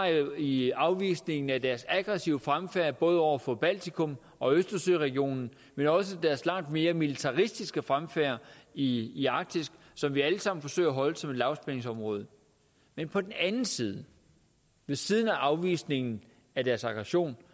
i afvisningen af deres aggressive fremfærd både over for baltikum og i østersøregionen men også af deres langt mere militaristiske fremfærd i i arktis som vi allesammen forsøger at holde som lavspændingsområde men på den anden side ved siden af afvisningen af deres aggression